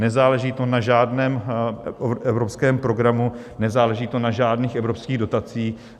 Nezáleží to na žádném evropské programu, nezáleží to na žádných evropských dotacích.